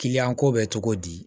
Kiliyan ko bɛ cogo di